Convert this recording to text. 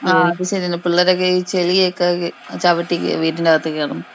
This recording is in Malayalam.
ആ അത് ശരിയാ ചെളിയൊക്കെ ചവിട്ടി കേറി വീട്ടിനകത്ത് കേറും.